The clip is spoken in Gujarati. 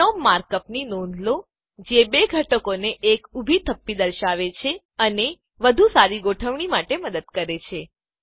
બિનોમ માર્ક અપની નોંધ લો જે બે ઘટકોની એક ઊભી થપ્પી દર્શાવે છે અને વધુ સારી ગોઠવણી માટે મદદ કરે છે